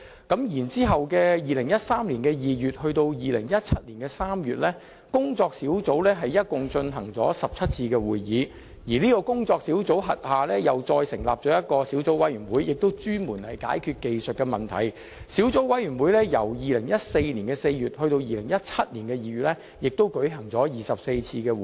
其後，在2013年2月至2017年3月，有關的工作小組共進行了17次會議，並在其轄下成立小組委員會，專門解決技術問題，而小組委員會在2014年4月至2017年2月間亦舉行了24次會議。